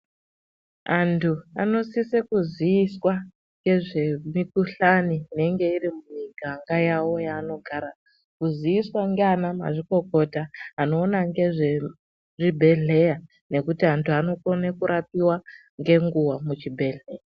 Antu anosise kuziiswa ngezvemikhuhlani inenge iri mumiganga yawo yavanogara. Kuziiswa ngaanamazvikokota anoona ngezvezvibhedhleya nekuti anhu anokone kurapiwa ngenguwa muchibhedhlera.